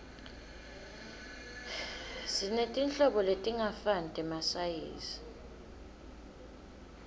sinetinhlobo letingafani temasayizi